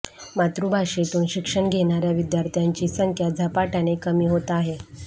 मातृभाषेतून शिक्षण घेणाऱया विद्यार्थ्यांची संख्या झपाटयाने कमी होत आहे